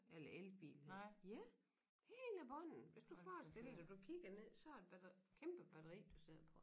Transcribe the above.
Eller elbil hedder det ja hele bunden hvis du forestiller dig du kigger ned så er det kæmpe batteri du sidder på